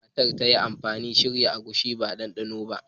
Hanyar da matar ta yi amfani wajen shirya agushi ba ita ce ɗanɗanona ba.